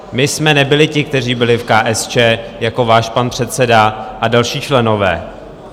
My jsme nebyli ti, kteří byli v KSČ jako váš pan předseda a další členové.